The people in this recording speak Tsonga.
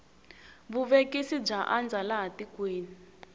vuvekisi bya andza laha tikweni